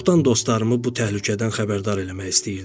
Çoxdan dostlarımı bu təhlükədən xəbərdar eləmək istəyirdim.